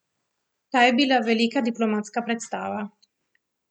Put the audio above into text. To je bila velika diplomatska predstava.